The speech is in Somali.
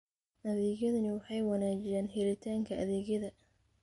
Adeegyadani waxay wanaajiyaan helitaanka adeegyada.